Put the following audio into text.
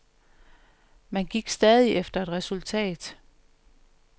Man gik stadig efter et resultat.